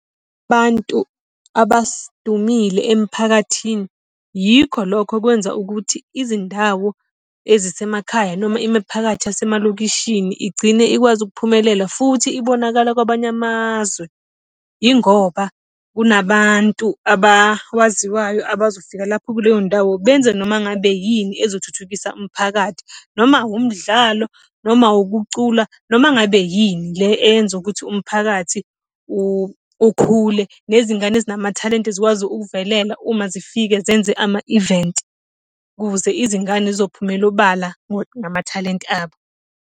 abantu abadumile emiphakathini, yikho lokho kwenza ukuthi izindawo ezisemekhaya noma imiphakathi yasemalokishini igcine ikwazi ukuphumelela futhi ibonakala kwabanye amazwe. Yingoba kunabantu abawaziwayo abazofika lapho kuleyo ndawo benze noma ngabe yini ezokuthuthukisa umphakathi noma wumdlalo, noma wukucula, noma ngabe yini le eyenza ukuthi umphakathi ukhule. Nezingane ezinamathalente zikwazi ukuvelela uma zifika zenze ama-event ukuze izingane zizophumela obala ngamathalente abo.